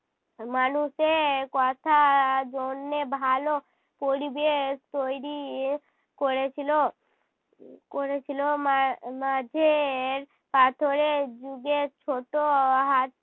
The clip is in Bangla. মানুষে কথা জন্যে ভালো পরিবেশ তৈরী করেছিল, উম করেছিল। মা~ মাঝের পাথরের যুগের ছোট হা